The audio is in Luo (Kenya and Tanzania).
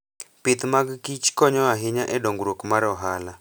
Pith mag kich konyo ahinya e dongruok mar ohala.